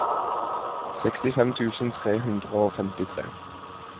sekstifem tusen tre hundre og femtitre